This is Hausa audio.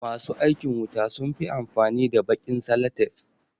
Ma su aikin wuta sun fi amfani da baƙin salatef.